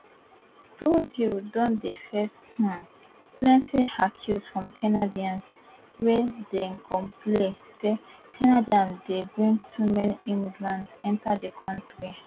trudeau don dey face um plenty accuse from canadians wey dey complain say canada dey bring too many immigrants enta di kontri